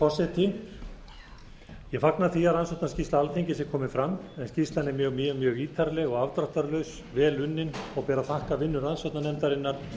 ég fagna því að rannsóknarskýrsla alþingis er komin fram skýrslan er mjög ítarleg og afdráttarlaus vel unnin og ber að þakka vinnu rannsóknarnefndarinnar